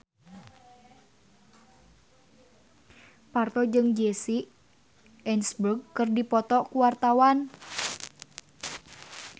Parto jeung Jesse Eisenberg keur dipoto ku wartawan